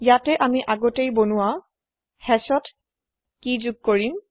ইয়াতে আমি আগতেই বনোৱা hashত কেই যোগ কৰিম